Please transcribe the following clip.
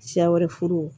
Siya wɛrɛ furu